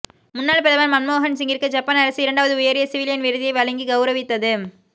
முன்னாள் பிரதமர் மன்மோகன் சிங்கிற்கு ஜப்பான் அரசு இரண்டாவது உயரிய சிவிலியன் விருதை வழங்கி கவுரவித்தது